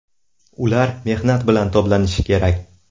Ular mehnat bilan toblanishi kerak.